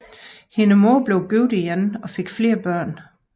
Hendes mor blev igen gift og fik flere børn